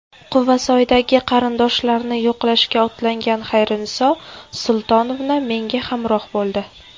Quvasoydagi qarindoshlarni yo‘qlashga otlangan Xayriniso Sultonovna menga hamroh bo‘ldi.